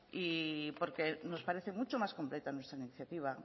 porque nos parece mucho más completa nuestra iniciativa